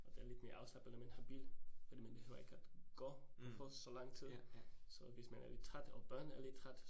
Og det er lidt mere afslappende, man har bil fordi man behøver ikke at gå på fod så lang tid, så hvis man er lidt træt, og børnene er lidt træt